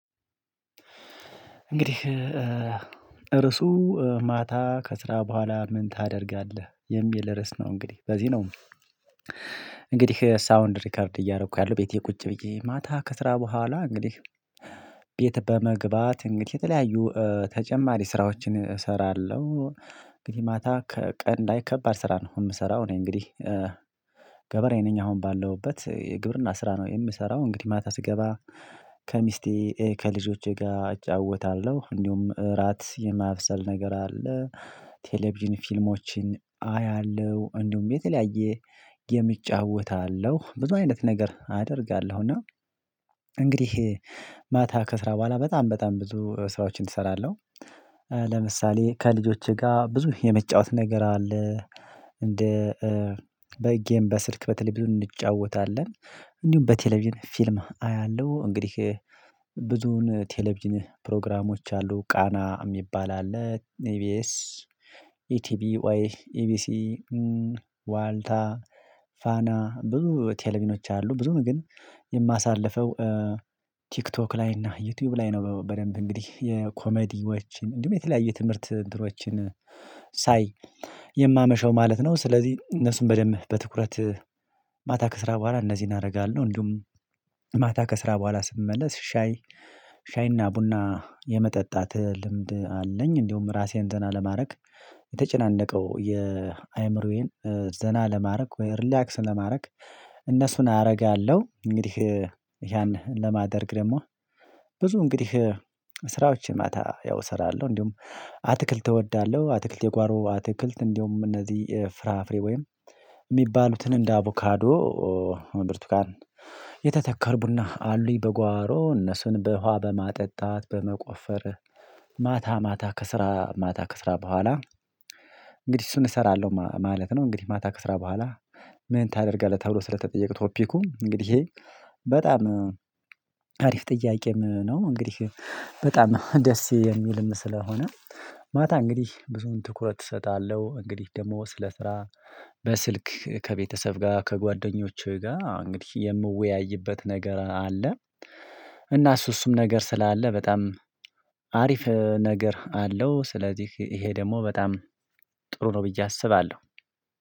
እንግዲህ እርሱ ማታ ከስራ ቦኋላ ምን ታደርጋለህ? የሚል ርዕስ ነው እንግዲህ በዚህ ነው። እንግዲህ ሳውንድ ሪከርድ እያረኩ ያለው ቤቴ ቁጭ ብዬ ማታ ከስራ ቦኋላ እንግዲህ ቤት በመግባት እንግዲህ የተለያዩ ተጨማሪ ስራዎችን እሰራለሁ። እንግዲህ ማታ ከቀን ላይ ከባድ ስራ ነው የምሰራው እኔ እንግዲህ ገበሬ ነኝ አሁን ባለሁበት የግብርና ስራ ነው የምሰራው እንግዲህ ማታ ስገባ ከሚስቴ ከልጆቼ ጋር እጫወታለሁ እንዲሁም እራት የማብሰል ነገር አለ ቴሌቪዥን ፊልሞችን አያለሁ እንዲሁም የተለያየ የሚጫወት አለው። ብዙ አይነት ነገር አደርጋለሁ እና እንግዲህ ማታ ከስራ በኋላ በጣም በጣም ብዙ ስራዎችን እሰራለሁ ለምሳሌ ከልጆቼ ጋር ብዙ የሚጫወት ነገር አለ። እንደ በጌም በስልክ በተለይ ብዙ እንጫወታለን እንዲሁም በቴሌቪዥን ፊልም አያለሁ እንግዲህ ብዙ ቴሌቪዥን ፕሮግራሞች አሉ ቃና የሚባል አለ ኢቢኤስ ኢቲቢዌይ ኢቢሲ ዋልታ ፋና ብዙ ቴሌቪዥኖች አሉ ብዙ ግን የማሳልፈው ቲክቶክ ላይ እና ዩቲዩብ ላይ ነው። በደንብ እንግዲህ የኮመዲዎችን እንዲሁም የተለያየ ትምህርት እንትኖችን ሳይ የማመሸው ማለት ነው። ስለዚህ እነሱን በደንብ በትኩረት ማታ ከስራ ቦኋላ እነዚህን አረጋለሁ። እንዲሁም ማታ ከስራ ቦኋላ ስመለስ ሻይ ሻይና ቡና የመጠጣት ልምድ አለኝ። እንዲሁም ራሴን ዘና ለማረግ የተጨናነቀው የአእምሮዬን ዘና ለማረግ ወይም ሪላክስ ለማድረግ እነሱን አረጋለሁ። እንግዲህ ያን ለማድረግ ደግሞ ብዙ እንግዲህ ስራዎችን ማታ ያው እሰራለሁ። እንዲሁም አትክልት እወዳለሁ አትክልት የጓሮ አትክልት እንዲሁም እነዚህ ፍራፍሬ ወይም የሚባሉትን እንደ አቮካዶ ብርቱካን የተተከሉ ቡና አሉኝ በጓሮ እነሱን በውሃ በማጠጣት በመቆፈር ማታ ማታ ከስራ ማታ ከስራ ቦኋላ እንግዲህ እሱን እሰራለሁ ማ ማለት ነው። እንግዲህ ማታ ከስራ በኋላ ምን ታደርጋለህ ተብሎ ስለተጠየቀ ቶፒኩ እንግዲህ በጣም አሪፍ ጥያቄም ነው። እንግዲህ በጣም ደስ የሚልም ስለሆነ ማታ እንግዲህ ብዙውን ትኩረት እሰጣለሁ እንግዲህ ደግሞ ስለ ስራ በስልክ ከቤተሰብ ጋር ከጓደኞቼ ጋር እንግዲህ የምወያይበት ነገር አለ። እና እሱ እሱም ነገር ስላለ በጣም አሪፍ ነገር አለው ስለዚህ ይሄ ደግሞ በጣም ጥሩ ነው ብዬ አስባለሁ።